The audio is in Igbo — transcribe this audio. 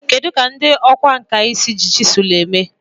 Kedu ka ndị ọkwá nkà si eji chiselu eme ihe?